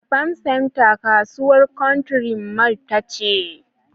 a farm center kasuwar country mall tace